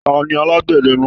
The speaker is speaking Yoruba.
Tani alagbẹdẹ náà?